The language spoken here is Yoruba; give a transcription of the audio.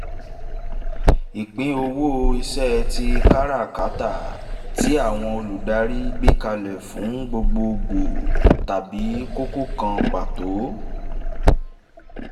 ìpín owó iṣẹ́ tí káràkátà tí àwọn olùdarí gbékalẹ̀ fún gbogbo gbòò tàbí kókó kan pàtó